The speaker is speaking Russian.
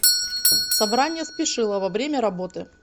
собрание спешилова время работы